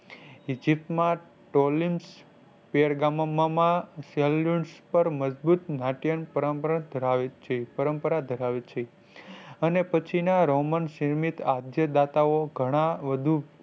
Eygypt માં પર મજબૂત નાટિય પરંપરા ધરાવે છે પરંપરા ધરાવે છે અને પછી ના Roman ઘણા વધુ